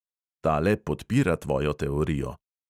"Tale podpira tvojo teorijo."